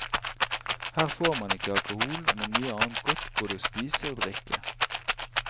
Her får man ikke alkohol, men mye annet godt både å spise og drikke.